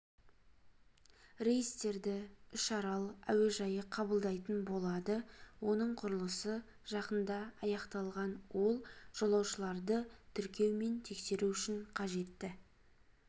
рейстерді үшарал әуежайы қабылдайтын болады оның құрылысы жақында аяқталған ол жолаушыларды тіркеу мен тексеру үшін қажетті